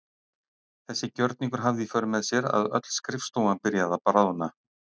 Þessi gjörningur hafði í för með sér að öll skrifstofan byrjaði að bráðna.